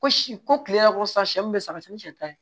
Ko si ko kile yɛrɛ ko sisan siyɛ min bɛ san ka sɛn ni sɛ ta ye